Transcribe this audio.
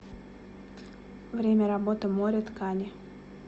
время работы море ткани